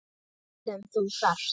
Allt sem þú þarft.